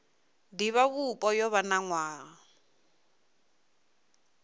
divhavhupo yo vha na nwaha